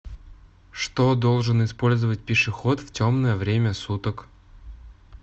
что должен использовать пешеход в темное время суток